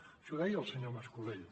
això ho deia el senyor mas colell